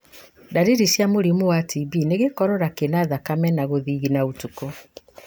Ndariri cia mũrimũ wa TB nĩ gĩkorora kĩna thakame na gũthigina ũtukũ.